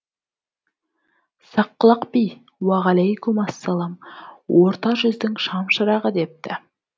саққұлақ би уағалайкум ассалам орта жүздің шам шырағы депті